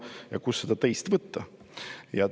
Aga kust seda teist võtta?